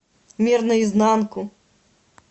мир наизнанку